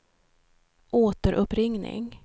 återuppringning